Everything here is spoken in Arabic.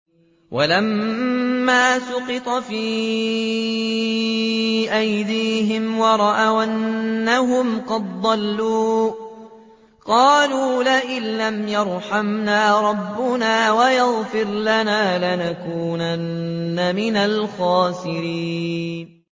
وَلَمَّا سُقِطَ فِي أَيْدِيهِمْ وَرَأَوْا أَنَّهُمْ قَدْ ضَلُّوا قَالُوا لَئِن لَّمْ يَرْحَمْنَا رَبُّنَا وَيَغْفِرْ لَنَا لَنَكُونَنَّ مِنَ الْخَاسِرِينَ